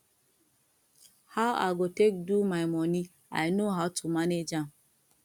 how i go take do my money i know how to manage am